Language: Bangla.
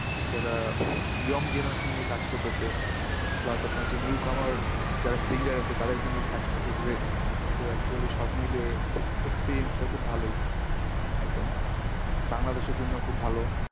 যারা young generaation নিয়ে কাজ করতাসে plus আপনার যে newcomer যারা singer আছে তাদেরকে নিয়ে কাজ করতাসে। তো actually সবমিলিয়ে experience টা খুব ভালোই। একদম বাংলাদেশের জন্য খুব ভালো।